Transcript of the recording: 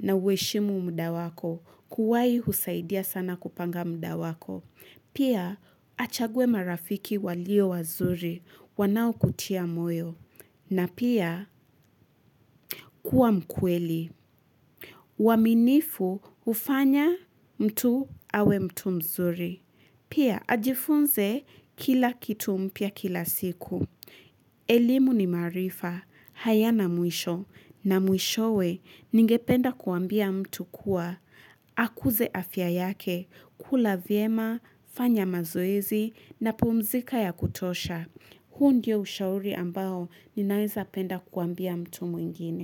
na uheshimu muda wako. Kuwahi husaidia sana kupanga muda wako. Pia, achaguwe marafiki walio wazuri. Wanaokutia moyo. Na pia, kuwa mkweli. Uaminifu hufanya mtu awe mtu mzuri. Pia, ajifunze kila kitu mpya kila siku. Elimu ni marifa. Hayana mwisho na mwishowe ningependa kuambia mtu kuwa, akuze afya yake, kula vyema, fanya mazoezi na pumzika ya kutosha. Huu ndio ushauri ambao ninaweza penda kuambia mtu mwingine.